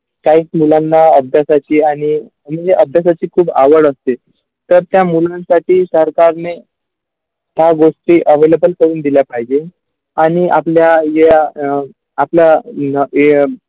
त्या मुलांना अभ्यासाची आणि new अभ्यासाचीखूप आवड असते तर त्या मुलांसाठी सरकारने काय गोष्टी available करून दिला पाहिजेआणि आपल्या ज्या अ आपल्या न अ.